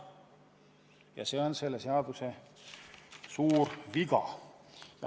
Aga see aspekt on selle seaduse suur viga.